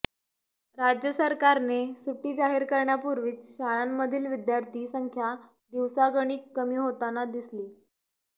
राज्य सरकारने सुटी जाहीर करण्यापूर्वीच शाळांमधील विद्यार्थी संख्या दिवसागणिक कमी होताना दिसली